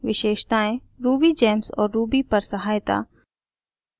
विशेषताएँ rubygems और ruby पर सहायता